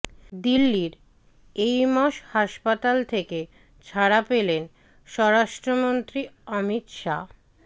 দিল্লির এইমস হাসপাতাল থেকে ছাড়া পেলেন স্বরাষ্ট্রমন্ত্রী অমিত শাহ